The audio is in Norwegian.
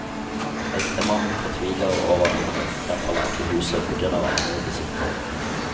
Ektemannen fortviler over at han ikke kan forlate huset på grunn av arbeidet sitt.